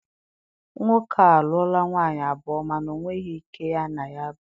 Nwoke a a lụọla nwaanyị abụọ mana ọ nweghị nke ya na ya bi.